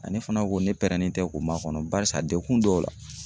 Aa ne fana ko ne pɛrɛnnen tɛ k'o ma kɔnɔ .Barisa dekun dɔw la